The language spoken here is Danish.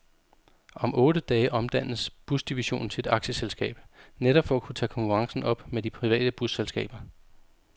Om otte dage omdannes busdivisionen til et aktieselskab, netop for at kunne tage konkurrencen op med de private busselskaber.